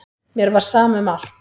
Mér var sama um allt.